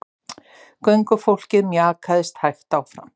Göngufólkið mjakaðist hægt áfram.